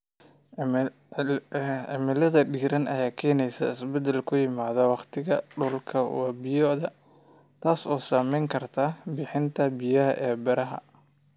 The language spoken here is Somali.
Cimilada diiran ayaa keenaysa isbeddel ku yimaada wakhtiga qulqulka wabiyada, taas oo saamayn karta bixinta biyaha ee beeraha.